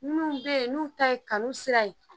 Minnu bɛ yen n'u ta ye kanu sira ye.